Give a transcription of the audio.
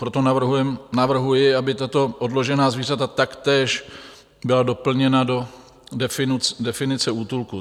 Proto navrhuji, aby tato odložená zvířata taktéž byla doplněna do definice útulku.